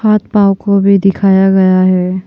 हाथ पांव को भी दिखाया गया है।